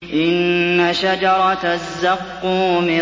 إِنَّ شَجَرَتَ الزَّقُّومِ